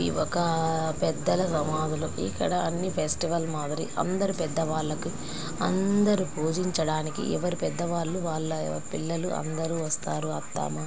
ఇది ఒక పెద్దనీ సమాధులకి ఇక్కడ అన్ని ఫెస్టివల్ మాదిరి అందరి పెద్దవాళ్లకి అందరూ పూజించడానికి ఎవరి పెద్ద వాళ్లు వాళ్ల పిల్లలు అందరూ వస్తారు అద్దామా---